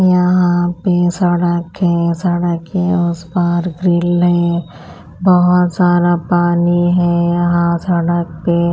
यहाँ पे सड़क है सड़क के उस पार ग्रिल है बहुत सारा पानी है यहाँ सड़क पे --